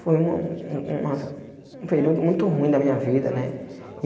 Foi uma um um uma um período muito ruim da minha vida, né?